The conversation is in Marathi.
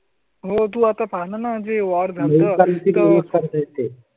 तू आता पाहा ना? म्हणजे वॉर्स. आहे ते.